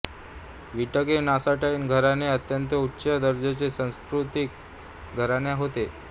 Wittgenstein घराणे अत्यंत उच्च दर्जाचे सुसंस्कृत घराणे होते